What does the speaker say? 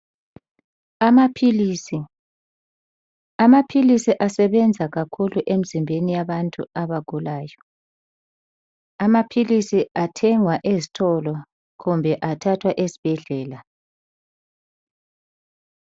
Amaphilisi. Amaphilisi asebenza kakhulu emzimbeni yabantu abagula. Amaphilisi athengwa ezitolo kumbe athathwa esibhedlela.